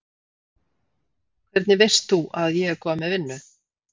Hvernig veist þú að ég er komin með vinnu?